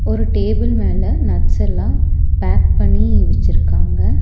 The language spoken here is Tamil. ஒரு டேபிள் மேல நட்ஸ்ஸெல்லா பேக் பண்ணி வெச்சிருக்காங்க.